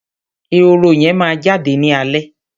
ehoro yẹn máa jáde ní alẹ́